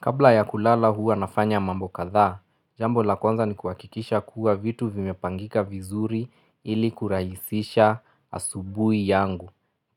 Kabla ya kulala huwa nafanya mambo kadhaa, jambo la kwanza ni kuwakikisha kuwa vitu vimepangika vizuri ili kuraisisha asubui yangu.